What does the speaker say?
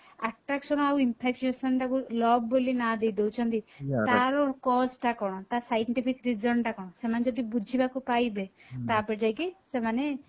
attraction ଆଉ infra creation ଟାକୁ love ବୋଲି ନା ଦେଇଦଉଛନ୍ତି ତାର cause ଟା କଣ ତାର scientific reason ଟା କଣ ସେମାନେ ଯଦି ବୁଝିବା କୁ ପାଇବେ ତାପରେ ଯାଇକି ସେମାନେ